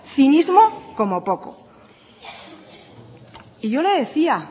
cinismo como poco yo le decía